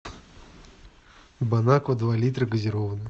бонаква два литра газированная